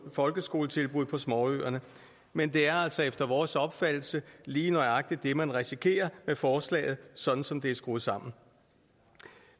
folkeskoletilbud på småøerne men det er altså efter vores opfattelse lige nøjagtig det man risikerer med forslaget sådan som det er skruet sammen